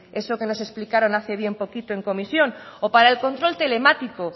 eso que no explicaron hace bien poquito en comisión o para el control telemático